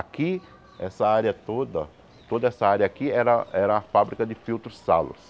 Aqui, essa área toda ó, toda essa área aqui era era a fábrica de filtros Salos.